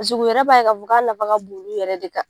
pasik'u yɛrɛ b'a ye k'a fɔ k'a nafa ka bon olu yɛrɛ de kan